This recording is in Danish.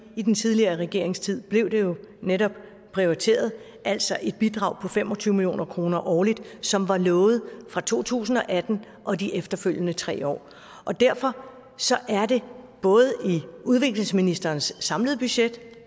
i den tidligere regerings tid blev det jo netop prioriteret altså et bidrag på fem og tyve million kroner årligt som var lovet fra to tusind og atten og de efterfølgende tre år derfor er det både i udviklingsministerens samlede budget